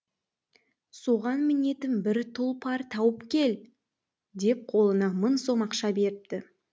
соған мінетін бір тұлпар тауып кел деп қолына мың сом ақша беріпті